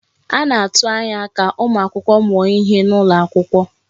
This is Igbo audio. A na-atụ anya ka ụmụ akwụkwọ mụọ ihe n'ụlọ akwụkwọ.